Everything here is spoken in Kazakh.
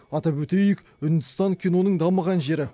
атап өтейік үндістан киноның дамыған жері